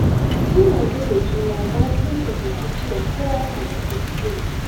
Sun yarda da juna bayan sun fahimci cewa kowa yana da kuskure.